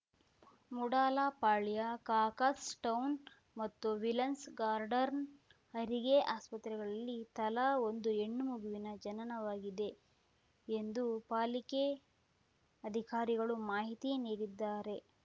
ಮೂಡಲಪಾಳ್ಯ ಕಾಕಸ್ ಟೌನ್‌ ಮತ್ತು ವಿಲನ್ಸ್ ಗಾರ್ಡನ್‌ ಹೆರಿಗೆ ಆಸ್ಪತ್ರೆಗಳಲ್ಲಿ ತಲಾ ಒಂದು ಹೆಣ್ಣು ಮಗುವಿನ ಜನನವಾಗಿದೆ ಎಂದು ಪಾಲಿಕೆ ಅಧಿಕಾರಿಗಳು ಮಾಹಿತಿ ನೀಡಿದ್ದಾರೆ